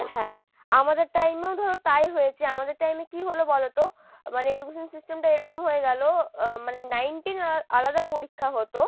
হ্যাঁ, আমাদের time এও ধরো তাই হয়েছে আমাদের time এ কি হল বলতো? মানে education system টা এরকম হয়ে গেলো আহ মানে nine ten আহ আলাদা পরীক্ষা হতো,